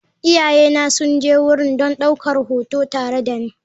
Iyayena sun je wurin don ɗaukar hoto tare da ni.